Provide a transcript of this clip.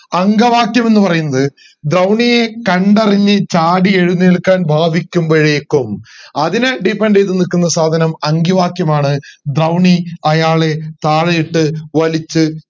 അങ്കവാക്യം എന്ന് പറയുന്നത് ദ്രൗണിയെ കണ്ടറിഞ്ഞു ചാടി എഴുന്നേൽക്കാൻ ഭവിക്കുമ്പോഴേക്കും അതിനെ depend ചെയ്ത് നിക്കുന്ന സാധനം അങ്കിവാക്യം ആണ് ദ്രൗണി അയാളെ താഴെ ഇട്ട് വലിച്ച്